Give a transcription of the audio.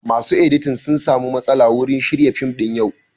Masu editing sun samu matsala wurin shirya fim ɗin yau